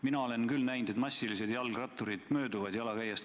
Mina olen küll näinud, et massiliselt jalgratturid mööduvad jalakäijatest.